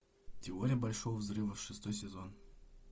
теория большого взрыва шестой сезон